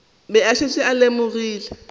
be a šetše a lemogile